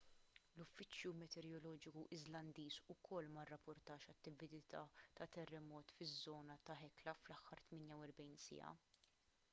l-uffiċċju meteoroloġiku iżlandiż ukoll ma rrapportax attività ta' terremot fiż-żona ta' hekla fl-aħħar 48 siegħa